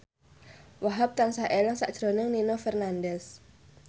Wahhab tansah eling sakjroning Nino Fernandez